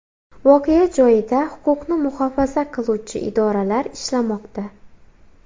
Voqea joyida huquqni muhofaza qiluvchi idoralar ishlamoqda.